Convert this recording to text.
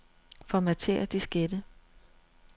Formatér diskette.